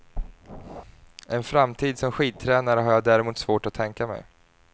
En framtid som skidtränare har jag däremot svårt att tänka mig.